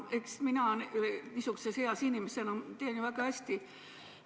Eks mina niisuguses eas inimesena tean ju väga hästi.